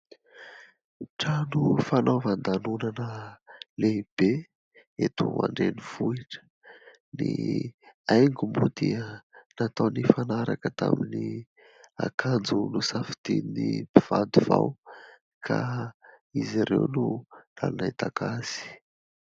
Trano fanaovan-danonana lehibe eto andrenivohitra. Ny haingo moa dia natao nifanaraka tamin'ny akanjo nosafidian'ny mpivady vao ka izy ireo no nametaka azy.